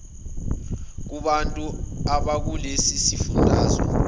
kubantu bakulesi sifundazwe